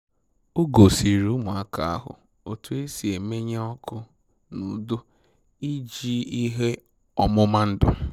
O gosịrị ụmụaka ahụ otu e si emenye ọkụ n'udo iji ihe ọmụma ndụ